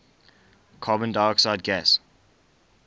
carbon dioxide gas